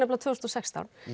tvö þúsund og sextán